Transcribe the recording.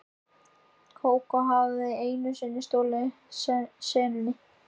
Kókó hafði einu sinni stolið senunni.